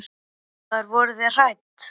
Fréttamaður: Voruð þið hrædd?